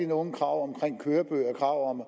nogen krav om kørebøger og